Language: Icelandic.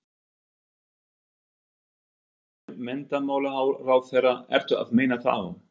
Þorgerður Katrín Gunnarsdóttir, menntamálaráðherra: Ertu að meina þá?